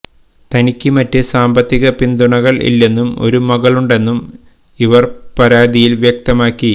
തനിക്ക് മറ്റ് സാമ്പത്തിക പിന്തുണകൾ ഇല്ലെന്നും ഒരു മകളുണ്ടെന്നും ഇവർ പരാതിയിൽ വ്യക്തമാക്കി